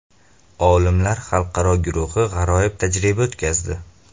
Olimlar xalqaro guruhi g‘aroyib tajriba o‘tkazdi.